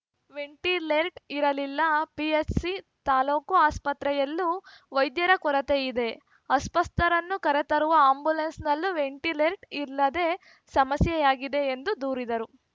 ವೆಂಟಿಲೇರ್ಟ್ ಇರಲಿಲ್ಲ ಪಿಎಚ್‌ಸಿ ತಾಲೂಕು ಆಸ್ಪತ್ರೆಯಲ್ಲೂ ವೈದ್ಯರ ಕೊರತೆ ಇದೆ ಅಸ್ವಸ್ಥರನ್ನು ಕರೆತರುವ ಆ್ಯಂಬುಲೆನ್ಸ್‌ನಲ್ಲೂ ವೆಂಟಿಲೇರ್ಟ್ ಇಲ್ಲದೆ ಸಮಸ್ಯೆಯಾಗಿದೆ ಎಂದು ದೂರಿದರು